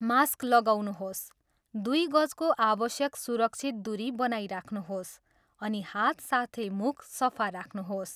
Mask लगाउनुहोस्, दुइ गजको आवश्यक सुरक्षित दुरी बनाइराख्नुहोस अनि हात साथै मुख सफा राख्नुहोस्।